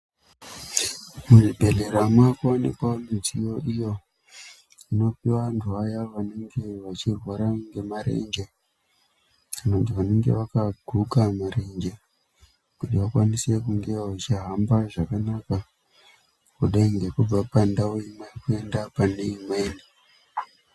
Muzvibhedhlera, mwaakuwanikwawo midziyo iyo, inopiwa vanthu vaya vanenge, vachirwara ngemarenje, vanthu vanenge vakaguka marenje, kuti vakwanise kunge vechihamba zvakanaka, kudai ngekubva pandau kuenda pane imweni.